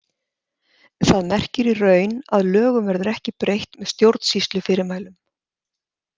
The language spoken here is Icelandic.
Það merkir í raun að lögum verður ekki breytt með stjórnsýslufyrirmælum.